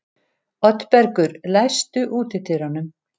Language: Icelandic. Oddbergur, læstu útidyrunum.